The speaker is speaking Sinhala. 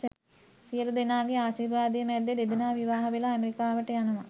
සියළුදෙනාගේ ආශීර්වාදය මැද්දෙ දෙදෙනා විවාහ වෙලා ඇමෙරිකාවට යනවා.